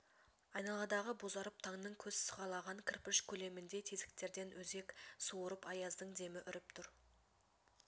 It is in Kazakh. айналадағы бозарып таңның көз сығалаған кірпіш көлеміндей тесіктерден өзек суырып аяздың демі үріп тұр